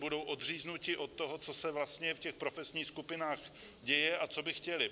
Budou odříznuti od toho, co se vlastně v těch profesních skupinách děje a co by chtěly.